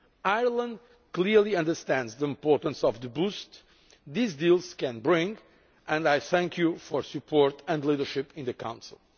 Ireland clearly understands the importance of the boost these deals can bring, and I thank you for your support and leadership in the Council.